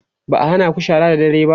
ba'a hanaku shara da dare ba?